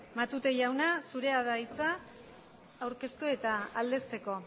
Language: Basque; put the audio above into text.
matute jauna zurea da hitza aurkeztu eta aldezteko